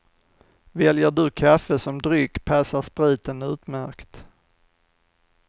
Väljer du kaffe som dryck passar spriten utmärkt.